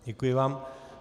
Děkuji vám.